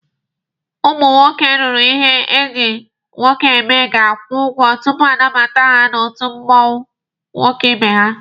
Ụmụ nwoke ruru ihe eji nwoke eme ga-akwụ ụgwọ tupu anabata ha n'otu ụmụ nwoke ibe ha.